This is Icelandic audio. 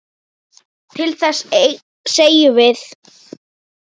Til þess segjum við.